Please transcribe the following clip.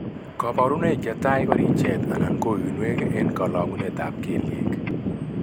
Kabarunoik chetai ko richet anan ko uinwek en kalong'unet ab kelyek